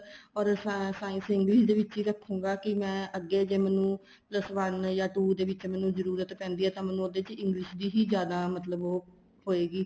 or science English ਦੇ ਵਿੱਚ ਹੀ ਰੱਖੂਗਾ ਕੀ ਮੈਂ ਅੱਗੇ ਜ਼ੇ ਮੈਨੂੰ plus one ਜਾਂ two ਦੇ ਵਿੱਚ ਮੈਨੂੰ ਜਰੂਰਤ ਤਾਂ ਪੈਂਦੀ ਆ ਤਾਂ ਮੈਨੂੰ ਉਹਦੇ ਵਿੱਚ English ਦੀ ਹੀ ਜਿਆਦਾ ਮਤਲਬ ਉਹ ਹੋਏਗੀ